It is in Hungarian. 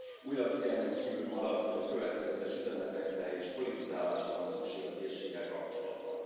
Újra figyelmen kívül marad, hogy következetes üzenetekre, és politizálásra van szükség a térséggel kapcsolatban.